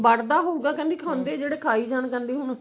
ਬਣਦਾ ਹੋਇਗਾ ਕਹਿੰਦੀ ਖਾਂਦੇ ਜਿਹੜੇ ਖਾਈ ਜਾਣ